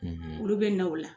Olu bɛ na o la